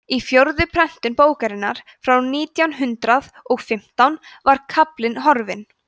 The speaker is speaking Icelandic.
í fjórðu prentun bókarinnar frá nítján hundrað og fimmtán var kaflinn horfinn